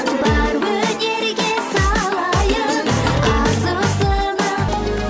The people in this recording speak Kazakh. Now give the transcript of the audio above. бар өнерге салайық ас ұсынып